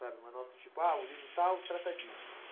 Sabe, uma nota de tipo, ah, o livro tal trata disso.